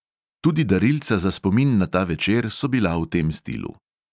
Tudi darilca za spomin na ta večer so bila v tem stilu.